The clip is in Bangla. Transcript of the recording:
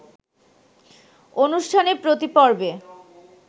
অনুষ্ঠানে প্রতি পর্বে